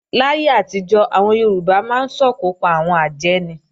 Láyé àtijọ́, àwọn Yorùbá máa ń sòkò pa àwọn àjẹ́ ni